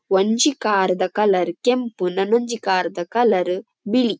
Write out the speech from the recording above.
ಒಂಜಿ ಕಾರ್ ದ ಕಲರ್ ಕೆಂಪು ನನೊಂಜಿ ಕಾರ್ ದ ಕಲರ್ ಬಿಳಿ.